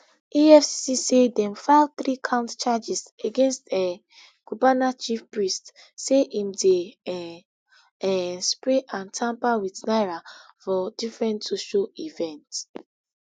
efcc say dem file three count charges against um cubana chief priest say im dey um um spray and tamper wit naira for different social event